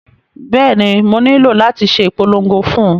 Bẹ́ẹ̀ni, mo nílò láti ṣe ìpolongo fún un